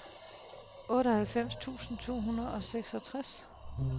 otteoghalvfems tusind to hundrede og seksogtres